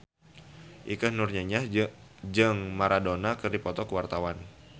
Ikke Nurjanah jeung Maradona keur dipoto ku wartawan